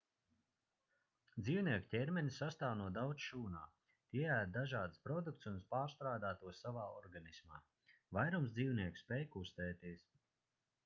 dzīvnieku ķermenis sastāv no daudz šūnām tie ēd dažādus produktus un pārstrādā tos savā organismā vairums dzīvnieku spēj kustēties